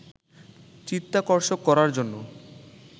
চিত্তাকর্ষক করার জন্য